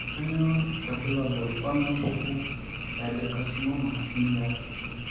Kainyio irbulabul onaapuku eadenocarcinoma eminyor?